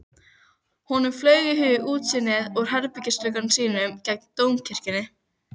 Honum flaug í hug útsýnið úr herbergisglugga sínum gegnt Dómkirkjunni.